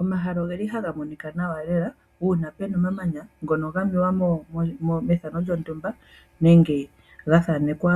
Omahala oge li haga monika nawa lela , uuna puna omamanya ngono ga mewa methano lyontumba nenge lya thanekwa